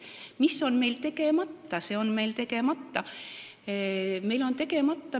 Mis on meil tegemata?